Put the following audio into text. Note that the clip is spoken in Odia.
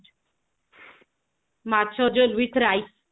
ମାଛ ଯୋଉ ଭିତରେ